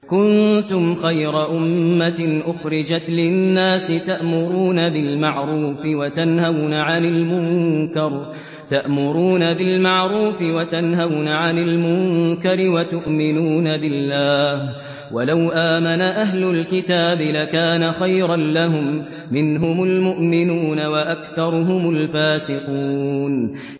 كُنتُمْ خَيْرَ أُمَّةٍ أُخْرِجَتْ لِلنَّاسِ تَأْمُرُونَ بِالْمَعْرُوفِ وَتَنْهَوْنَ عَنِ الْمُنكَرِ وَتُؤْمِنُونَ بِاللَّهِ ۗ وَلَوْ آمَنَ أَهْلُ الْكِتَابِ لَكَانَ خَيْرًا لَّهُم ۚ مِّنْهُمُ الْمُؤْمِنُونَ وَأَكْثَرُهُمُ الْفَاسِقُونَ